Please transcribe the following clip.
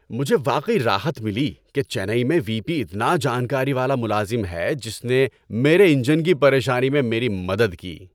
مجھے واقعی راحت ملی کہ چنئی میں وی پی اتنا جانکاری والا ملازم ہے جس نے میرے انجن کی پریشانی میں میری مدد کی۔